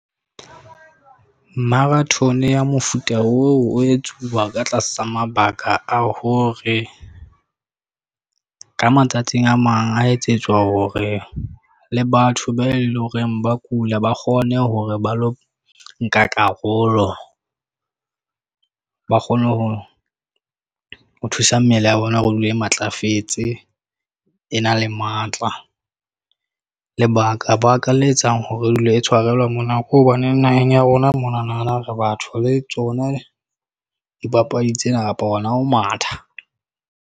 Marathon ya mofuta oo o etsuwa ka tlasa mabaka a hore ka matsatsing a mang, a etsetswa hore le batho be leng hore ba kula, ba kgone hore ba lo nka karolo. Ba kgone ho thusa mmele ya bona hore e dule e matlafetse, e na le matla. Lebaka-baka le etsang hore e dule e tshwarelwa mona. Ke hobaneng naheng ya rona monana re batho le tsona dipapadi tsena kapa hona ho matha.